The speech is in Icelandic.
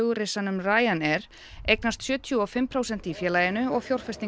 flugrisanum RyanAir eignast sjötíu og fimm prósent í félaginu og